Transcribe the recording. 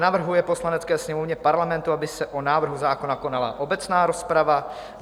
navrhuje Poslanecké sněmovně Parlamentu, aby se o návrhu zákona konala obecná rozprava;